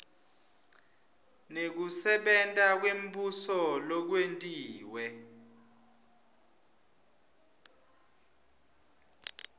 nekusebenta kwembuso lokwentiwe